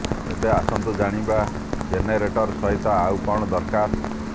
ଏବେ ଆସନ୍ତୁ ଜାଣିବା ଜେନେରେଟର ସହିତ ଆଉ କଣ ଦରକାର